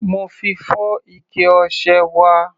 Mo fi fọ́ ike ọṣẹ wa.